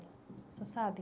O senhor sabe?